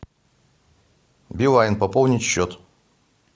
билайн пополнить счет